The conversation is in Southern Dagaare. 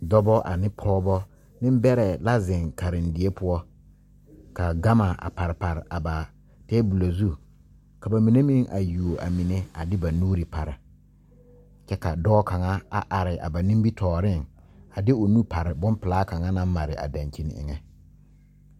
Dɔbɔ ane pɔɔbɔ neŋ bɛrɛ la zeŋ karendie poɔ ka gama a pare pare a ba tabolɔ zu ka ba mine meŋ a yuo a mine a de ba nuure pare kyɛ ka dɔɔ kaŋa a are a ba nimitooreŋ a de o nu pare bon pilaa kaŋa naŋ mare a dankyini eŋɛ.